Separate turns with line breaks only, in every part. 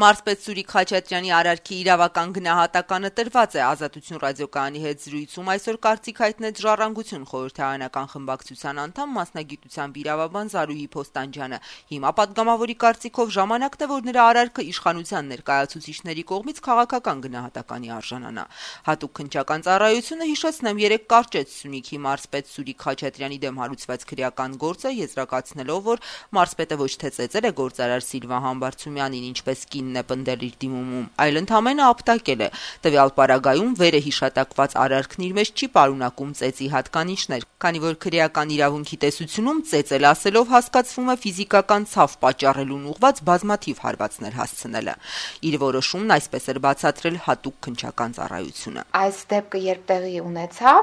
«Մարզպետ Սուրիկ Խաչատրյանի արարքի իրավական գնահատականը տրված է», - «Ազատություն» ռադիոկայանի հետ զրույցում այսօր կարծիք հայտնեց «Ժառանգություն» խորհրդարանական խմբակցության անդամ, մասնագիտությամբ իրավաբան Զարուհի Փոստանջյանը: Հիմա, պատգամավորի կարծիքով, ժամանակն է, որ նրա արարքը իշխանության ներկայացուցիչների կողմից քաղաքական գնահատականի արժանա: Հատուկ քննչական ծառայությունը, հիշեցնենք, երեկ կարճեց Սյունիքի մարզպետ Սուրիկ Խաչատրյանի դեմ հարուցված քրեական գործը` եզրակացնելով, որ մարզպետը ոչ թե ծեծել է գործարար Սիլվա Համբարձումյանին, ինչպես վերջինս պնդել է իր դիմումում, այլ ընդամենը ապտակել է: «Տվյալ պարագայում վերը հիշատակված արարքն իր մեջ չի պարունակում ծեծի հատկանիշներ, քանի որ քրեական իրավունքի տեսությունում «ծեծել» ասելով հասկացվում է ֆիզիկական ցավ պատճառելուն ուղղված բազմաթիվ հարվածներ հասցնելը», - իր որոշումն այսպես էր բացատրել Հատուկ քննչական ծառայությունը:
«Այդ դեպքը երբ տեղի ունեցավ,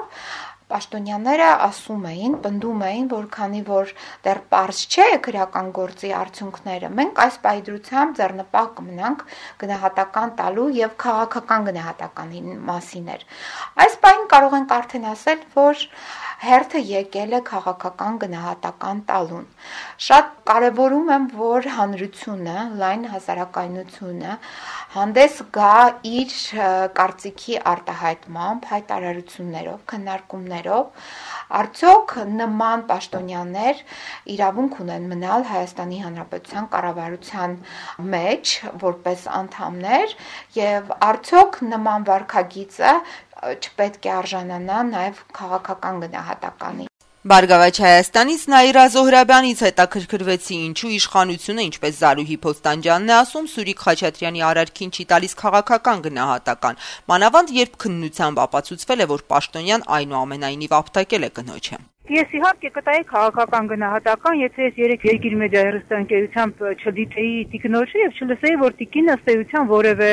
պաշտոնյաները պնդում էին` քանի որ դեռ պարզ չեն քրեական գործի արդյունքները, մենք այս պահի դրությամբ ձեռնպահ կմնանք գնահատական տալուց, եւ քաղաքական գնահատականի մասին էր: Այս պահին կարող ենք արդեն ասել, որ հերթը եկել է քաղաքական գնահատական տալուն: Շատ կարեւորում եմ, որ հանրությունը, լայն հասարակայնությունը հանդես գա իր կարծիքի արտահայտմամբ, հայտարարություններով, քննարկումներով` արդյո՞ք նման պաշտոնյաների իրավունք ունեն մնալ Հայաստանի Հանրապետության կառավարության մեջ որպես անդամներ, եւ արդյո՞ք նման վարքագիծը չպետք է արժանանա նաեւ քաղաքական գնահատականի», -
նշեց Զարուհի Փոստանջյանը: Հարցին, թե ինչու իշխանությունը քաղաքական գնահատական չի տալիս մարզպետի արարքին, «Բարգավաճ Հայաստան»-ից Նաիրա Զոհրաբյանը «Ազատություն» ռադիոկայանի հետ զրույցում արձագանքեց.
- «Ես, իհարկե, կտայի քաղաքական գնահատական, եթե ես երեկ «Երկիր մեդիա» հեռուստատեսությամբ չդիտեի տիկնոջը եւ չլսեի, որ տիկինը ըստ էության որեւէ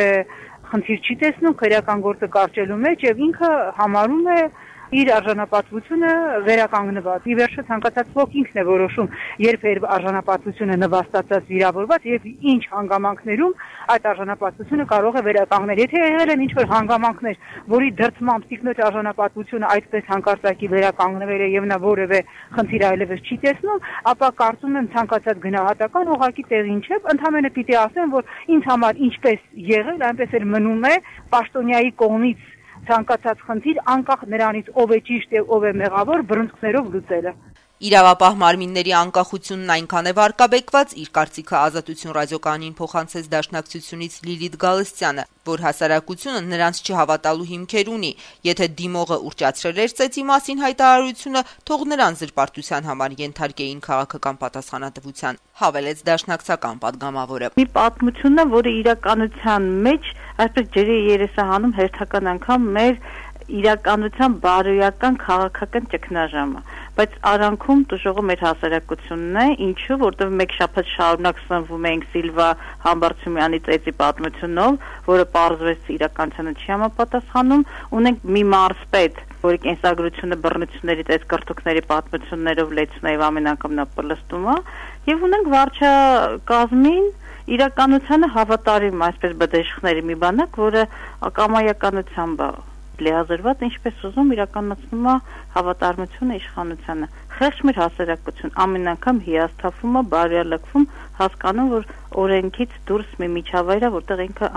խնդիր չի տեսնում քրեական գործը կարճելու մեջ, եւ ինքը համարում է իր արժանապատվությունը վերականգնված: Ի վերջո ցանկացած ոք ինքն է որոշում` երբ է իր արժանապատվությունը նվաստացված, վիրավորված եւ ինչ հանգամանքներում այդ արժանապատվությունը կարող է վերականգնել: Եթե եղել են ինչ-որ հանգամանքներով, որոնց դրդմամբ այդ տիկնոջ արժանապատվությունը այդպես հանկարծակի վերականգնվել է, եւ նա որեւէ խնդիր այլեւս չի տեսնում, ապա, կարծում եմ, ցանկացած գնահատական ուղղակի տեղին չէ: Ընդամենը պիտի ասեմ, որ ինձ համար ինչպես եղել, այնպես էլ մնում է պաշտոնյայի կողմից ցանկացած խնդիր` անկախ նրանից, թե ով է ճիշտ, ով է մեղավոր, բռունցքներով լուծելը»:
ՀՅԴ խորհրդարանական խմբակցության անդամ Լիլիթ Գալստյանի կարծիքով` իրավապահ մարմինների անկախությունն այնքան է վարկաբեկված, որ «հասարակությունը նրանց չհավատալու հիմքեր ունի»: Նրա խոսքով, եթե դիմողը ուռճացրել է ծեծի մասին հայտարարությունը, թող նրան զրպարտության համար ենթարկեին պատասխանատվության. - «Մի պատմություն
է, որը իրականության մեջ ջրի երես է հանում հերթական անգամ մեր իրականության բարոյական, քաղաքական ճգնաժամը: Բայց արանքում տուժողը մեր հասարակությունն է, որովհետեւ մեկ շաբաթ շարունակ սնվում էինք Սիլվա Համբարձումյանի ծեծի պատմությունով, որը, պարզվեց, իրականությանը չի համապատասխանում: Ունենք մի մարզպետ, որի կենսագրությունը բռնությունների, ծեծկռտուքների պատմություններով լեցուն է, եւ նա պլստում է, եւ ունենք վարչակազմին, իրականությանը հավատարիմ բդեշխների մի բանակ, որը կամայականությամբ է լիազորված, ինչպես ուզում իրականացնում է հավատարմությունը իշխանությանը: Խեղճ մեր հասարակություն. ամեն անգամ հիասթափվում է, բարոյալքվում, հասկանում, որ օրենքից դուրս մի միջավայր է, որտեղ ինքը